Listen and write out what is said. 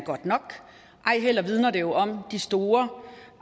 godt nok ej heller vidner det om de store